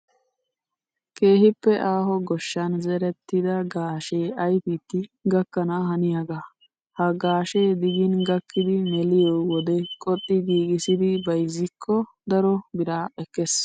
Keehippe aaho goshshan zerettida gaashee ayipidi gakkana haniyaaga. Ha gaashe digin gakkidi meliyoo wode qoxxi giigissidi bayizzikko daro biraa ekkes.